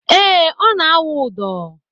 Ee, ọ na - awụ ụdọ